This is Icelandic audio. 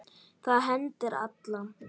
Það hendir alla